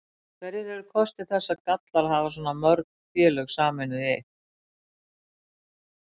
Hverjir eru kostir þess og gallar að hafa svona mörg félög sameinuð í eitt?